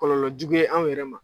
Kɔlɔlɔjugu ye an yɛrɛ ma.